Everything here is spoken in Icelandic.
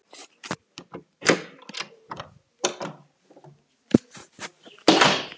Halli hor hafði séð hann.